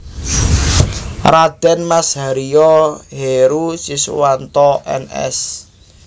Raden Mas Haryo Heroe Syswanto Ns